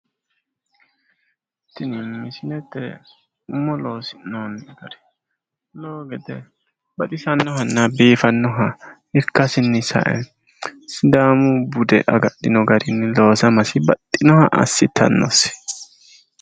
Tini misilete umo loosi'noonni gari lowo gede baxisannohanna biifinnoha ikkasinni sae sidaamu bude agadhino garini loosamasi baxxinoha assitannosi.